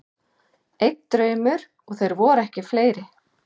Einn draumur, og þeir voru ekki fleiri.